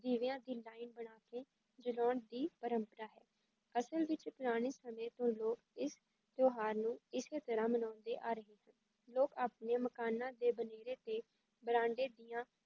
ਦੀਵਿਆਂ ਦੀ line ਬਣਾ ਕੇ ਜਲਾਉਣ ਦੀ ਪਰੰਪਰਾ ਹੈ, ਅਸਲ ਵਿੱਚ ਪੁਰਾਣੇ ਸਮੇਂ ਤੋਂ ਹੀ ਲੋਕ ਇਸ ਤਿਉਹਾਰ ਨੂੰ ਇਸੇ ਤਰ੍ਹਾਂ ਮਨਾਉਂਦੇ ਆ ਰਹੇ ਹਨ, ਲੋਕ ਆਪਣੇ ਮਕਾਨਾਂ ਦੇ ਬਨੇਰੇ ਤੇ ਬਰਾਂਡੇ ਦੀਆਂ